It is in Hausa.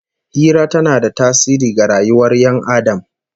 Hira tana da tasiri ga rayuwar Ƴan Adam